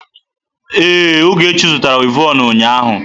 Ee, Ogechi zụtara wivọnụ ụnyaahụ.